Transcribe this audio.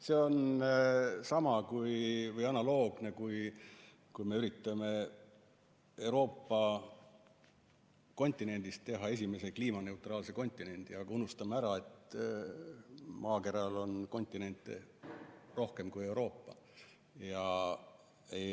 See on sama hea või analoogne, kui me üritame Euroopa kontinendist teha esimese kliimaneutraalse kontinendi, aga unustame ära, et maakeral on kontinente teisigi kui Euroopa, neid on rohkem.